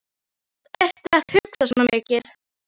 SÉRA SIGURÐUR: Þannig hlutum við allir að skilja það.